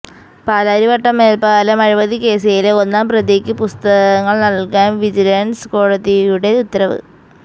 പാലാരിവട്ടം മേല്പ്പാലം അഴിമതിക്കേസിലെ ഒന്നാം പ്രതിക്ക് പുസ്തകങ്ങള് നല്കാന് വിജിലന്സ് കോടതിയുടെ ഉത്തരവ്